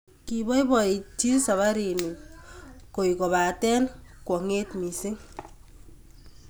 Koipoipoiti saparini koy kopate kwang'et missing'